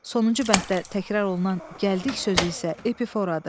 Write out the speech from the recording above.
Sonuncu bənddə təkrar olunan gəldik sözü isə epiforadır.